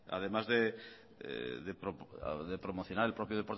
además de promocionar el propio